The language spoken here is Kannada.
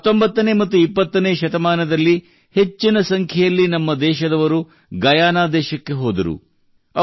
19ನೇ ಮತ್ತು 20ನೇ ಶತಮಾನದಲ್ಲಿ ಹೆಚ್ಚಿನ ಸಂಖ್ಯೆಯಲ್ಲಿ ನಮ್ಮದೇಶದವರು ಗಯಾನ ದೇಶಕ್ಕೆ ಹೋದರು